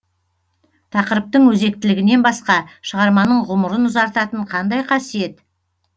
тақырыптың өзектілігінен басқа шығарманың ғұмырын ұзартатын қандай қасиет